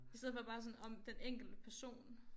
I stedet for bare sådan om den enkelte person